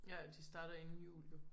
Ja det starter inden jul jo